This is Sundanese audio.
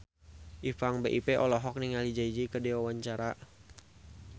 Ipank BIP olohok ningali Jay Z keur diwawancara